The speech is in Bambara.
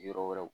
Yɔrɔ wɛrɛw